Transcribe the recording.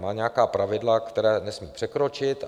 Má nějaká pravidla, která nesmí překročit.